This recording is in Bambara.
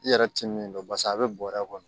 I yɛrɛ ti min dɔn paseke a be bɔrɛ kɔnɔ